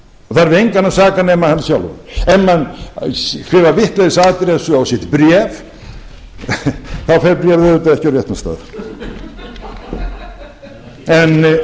það er við engan að saka nema hann sjálfan ef menn skrifa vitlausa addressu á sitt bréf þá fer bréfið auðvitað ekki á réttan stað en þetta er ekkert flókið jóhann ársælsson það